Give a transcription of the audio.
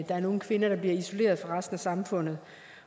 er nogle kvinder der bliver isoleret fra resten af samfundet